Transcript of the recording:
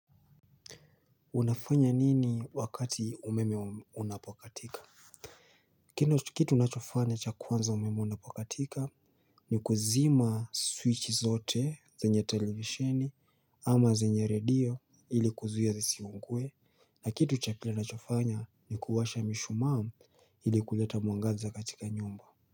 Unafanya nini wakati umeme unapokatika? Kitu nachofanya cha kwanza umeme unapokatika. Ni kuzima switchi zote, zenye televisheni ama zenye radio ili kuzuia zisiungue na kitu cha kila nachofanya ni kuwasha mishumaa ili kuleta mwangaza katika nyumba.